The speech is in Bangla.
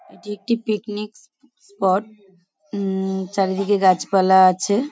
এটি একটি পিকনিক স্প স্পট উম চারিদিকে গাছপালা আছে ।